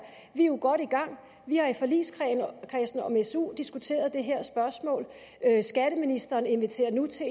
jo godt i gang vi har i forligskredsen om su diskuteret det her spørgsmål skatteministeren inviterer nu til